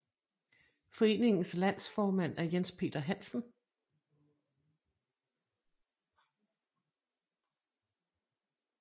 Foreningens landsformand er Jens Peter Hansen